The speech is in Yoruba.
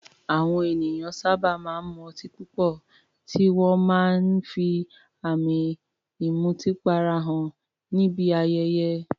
Àwọn ènìyàn sábà máa ń mu ọtí púpọ̀, tí wọ́n máa ń fi àmì ìmutípara hàn níbi ayẹyẹ.